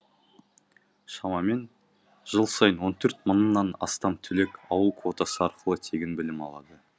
шамамен жыл сайын он төрт мыңнан астам түлек ауыл квотасы арқылы тегін білім алады